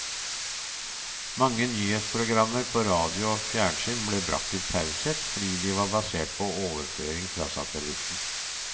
Mange nyhetsprogrammer på radio og fjernsyn ble bragt til taushet, fordi de var basert på overføring fra satellitten.